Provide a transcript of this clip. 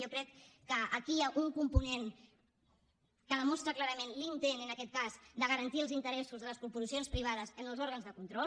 jo crec que aquí hi ha un component que demostra clarament l’intent en aquest cas de garantir els interessos de les corporacions privades en els òrgans de control